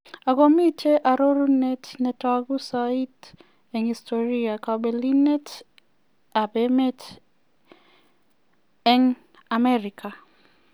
Ago miten arorunet netogu soiti en historia: Kopelinet ab emet an Amerika.